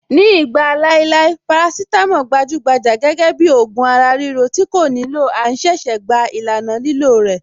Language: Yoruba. Ní ìgbà láéláé, parasítámọ̀ gbajúgbajà gẹ́gẹ́ bíi ògùn ara-ríro tí kò nílò à ń ṣẹ̀ṣẹ̀ gba ìlànà lílò rẹ̀.